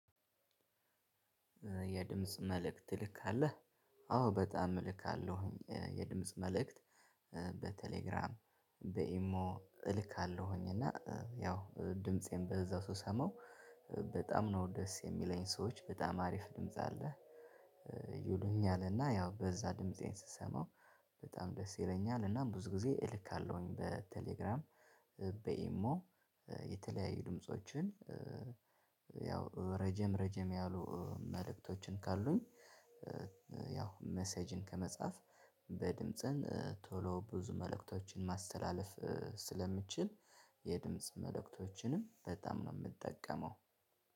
የድምጽ መልእክት ትልካለህ? አዎ በጣም እልካለሁኝ የድምጽ መልእክት በቴሌግራም በኢሞ እልካለሁኝ እና ያው ድምፄን በዛው ስሰማው በጣም ነው ደስ የሚለኝ ሰዎች በጣም አሪፍ ድምጽ አለህ። ይሉኛል እና ያው በዛ ድምፄን ስሰማው በጣም ደስ ይለኛል። እና ብዙ ጊዜ እልካለሁኝ በቴሌግራም በኢሞ የተለያዩ ድምፆችን ያው ረጀም ረጀም ያሉ መልእክቶችን ካሉኝ። ያው መሴጅን ከመጻፍ በድምጽን ቶሎ ብዙ መልእክቶችን ማስተላለፍ ስለምችል የድምጽ መልእክቶችንም በጣም ነው ምጠቀመው።